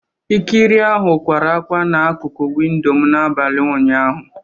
Ikiri ahụ kwara ákwá na akụkụ windo m n'abalị ụnyaahụ